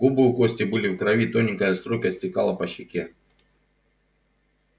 губы у кости были в крови тоненькая струйка стекала по щеке